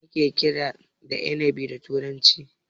Me ake kira da inabi da turanci?